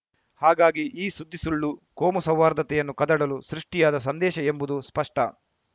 ಹಾಗಾಗಿ ಈ ಸುದ್ದಿ ಸುಳ್ಳು ಕೋಮುಸೌಹಾರ್ದತೆಯನ್ನು ಕದಡಲು ಸೃಷ್ಟಿಯಾದ ಸಂದೇಶ ಎಂಬುದು ಸ್ಪಷ್ಟ